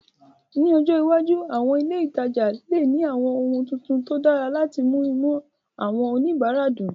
Ní ọjọ́ iwájú, àwọn ilé ìtajà lè ní àwọn ohun tuntun tó dára láti mú inú àwọn oníbàárà dùn